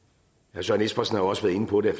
søren espersen har også været inde på det